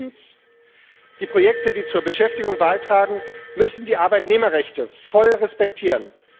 Und drittens Die Projekte, die zur Beschäftigung beitragen, müssen die Arbeitnehmerrechte voll respektieren.